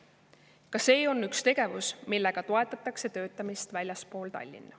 Ka see on üks tegevus, millega toetatakse töötamist väljaspool Tallinna.